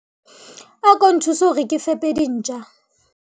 ako nthuse hore ke fepe dintja